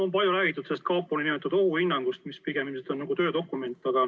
On palju räägitud sellest kapo nn ohuhinnangust, mis pigem ilmselt on nagu töödokument.